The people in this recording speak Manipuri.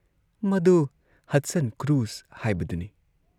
ꯃꯗꯨ ꯍꯗꯁꯟ ꯀ꯭ꯔꯨꯖ ꯍꯥꯏꯕꯗꯨꯅꯤ ꯫